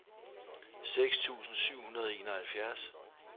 seks tusind syv hundrede og enoghalvfjerds